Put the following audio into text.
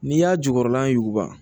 N'i y'a jukɔrɔla ɲuguba